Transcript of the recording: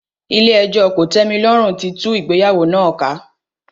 Ilé ẹjọ́ kòtẹ́milọ́rùn tí tú ìgbéyàwó náà ká.